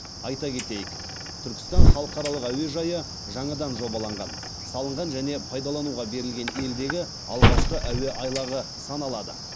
айта кетейік түркістан халықаралық әуежайы жаңадан жобаланған салынған және пайдалануға берілген елдегі алғашқы әуе айлағы саналады